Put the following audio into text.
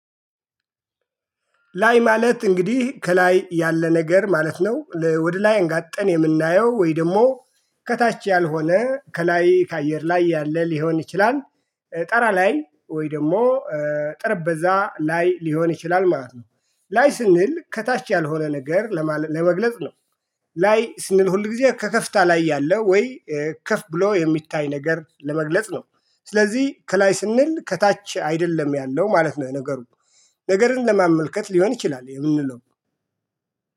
ላይ ማለት እንግዲህ ከላይ ያለ ነገር ማለት ነው ወደ ላይ አንጋጠን የምናየው ወይ ደግሞ ከታች ያልሆነ ከላይ ከአየር ላይ ያለ ሊሆን ይችላል ታራ ላይ ወይ ደግሞ ጠረበዛ ላይ ሊሆን ይችላል ማለት ነው። ላይ ስንል ከታች ያልሆነ ነገር ለመግለጽ ነው። ላይ ስንል ሁል ጊዜ ከከፍታ ላይ ያለ ወይ ከፍ ብሎ የሚታይ ነገር ለመግለጽ ነው ስለዚህ ከላይ ስንል ከታች አይደለም ያለው ማለት ነው። ነገሩ ነገርን ለማመልከት ሊሆን ይችላል የምንለው